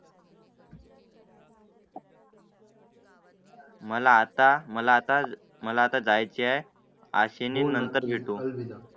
मला आता मला आता मला जाय चं आहे अशी नंतर.